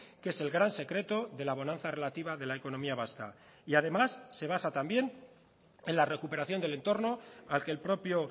que es el gran secreto de la bonanza relativa de la economía vasca y además se basa también en la recuperación del entorno al que el propio